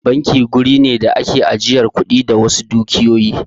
Banki wuri ne da ake ajiyar kuɗi da wasu dukiyoyi